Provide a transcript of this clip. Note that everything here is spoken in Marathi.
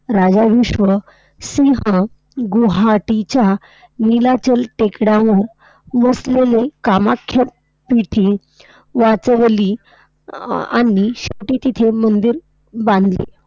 राजा भीष्मसिंह गुवाहाटीच्या नीलाचल टेकड्यावर वसलेले कामाख्या पीठे वाचवली अ~ आणि ते तिथे मंदिर बांधली.